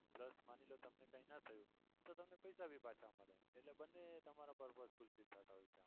plus માની લો કે તમને કઈ ના થયું તો તમને પૈસા ભી પાછા મળે છે એટલે બંને તમારો purpose fullfil થાય છે.